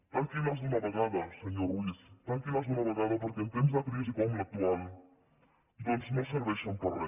tanquin les d’una vegada senyor ruiz tanquin les d’una vegada perquè en temps de crisi com l’actual doncs no serveixen per a re